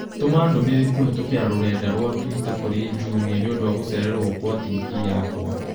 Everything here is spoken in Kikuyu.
Tũma ndũmĩrĩri kũhĩtũkĩra rũrenda rũa tũita kũrĩ jumia nĩ ũndũ wa gũcererwo kwa tivii yakwa